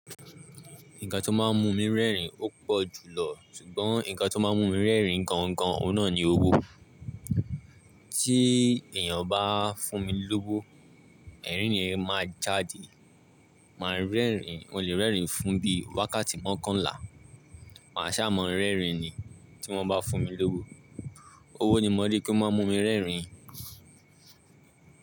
Nǹkan tó máa ń mú mi rẹ́rìn ó pọ̀ jùlọ. Sùgbọ́n nǹkan tó máa ń mú mi rẹ́rìn gan gan ọ̀nà ni owó. Tí èèyàn bá fún mi lówó, ẹ̀rín ni èmi máa jáde. Máa rẹ́rìn, mo lè rẹ́rìn fún bí wákàtí mókanlà. Màá ṣá mọ́ rẹ́rìn ni tí wọ́n bá fún mi lówó. Owó ni mo rí kí ó máa mú mi rẹ́rìn.